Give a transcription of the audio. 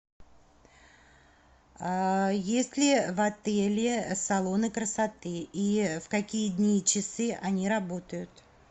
есть ли в отеле салоны красоты и в какие дни и часы они работают